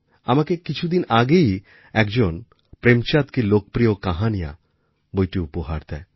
আমাকে কিছুদিন আগেই একজন প্রেমচাঁদ কী লোকপ্রিয় কাহাণীয়া বইটি উপহার দেয়